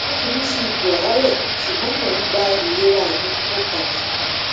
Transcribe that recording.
o fi mi mi si ipo aare sugbo mo n gba ilerami opada